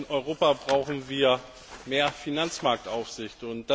Auch in Europa brauchen wir mehr Finanzmarktaufsicht.